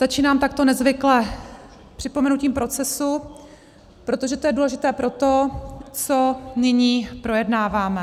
Začínám takto nezvykle připomenutím procesu, protože to je důležité pro to, co nyní projednáváme.